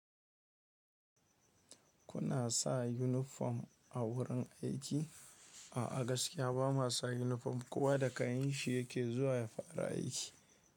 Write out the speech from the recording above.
Kuna sa yunifom a wurin aiki? A gaskiya ba mu sa yunifom kowa da kayan shi yake zuwa ya fara aiki.